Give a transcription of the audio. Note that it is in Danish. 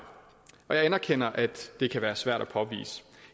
jeg anerkender at det kan være svært at påvise